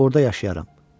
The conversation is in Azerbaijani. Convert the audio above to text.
Orda yaşayaram.